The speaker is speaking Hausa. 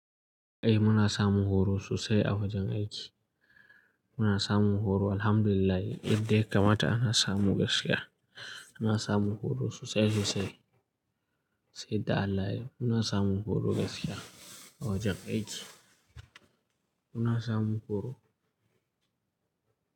Eh muna samun horo sosai a wajen aiki. Muna samun horo Alhamdulillah yadda ya kamata ana samu gaskiya. Muna samun horo sosai sosai. Sai da Allah muna samun horo gaskiya a wajen aiki. Muna samu horo.